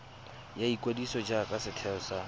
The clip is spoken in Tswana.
ya ikwadiso jaaka setheo sa